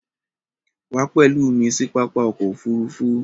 Wà pẹ̀lú mi sí pápá ọkọ̀ òfurufú!